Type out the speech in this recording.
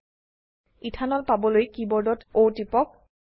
ethanol ethanol পাবলৈ কীবোর্ডত O টিপক